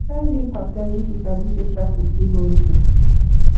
try leave house early if you sabi say traffic fit hold you